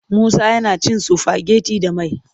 Musa yana cin sifageti da mai.